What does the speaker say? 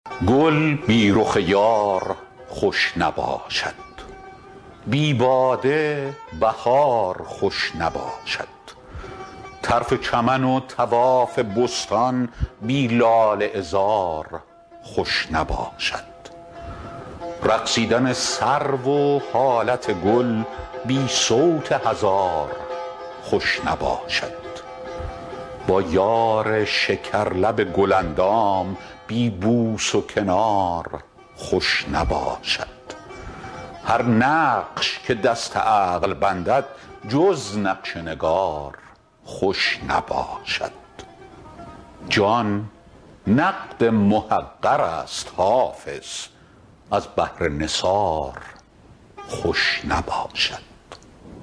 گل بی رخ یار خوش نباشد بی باده بهار خوش نباشد طرف چمن و طواف بستان بی لاله عذار خوش نباشد رقصیدن سرو و حالت گل بی صوت هزار خوش نباشد با یار شکرلب گل اندام بی بوس و کنار خوش نباشد هر نقش که دست عقل بندد جز نقش نگار خوش نباشد جان نقد محقر است حافظ از بهر نثار خوش نباشد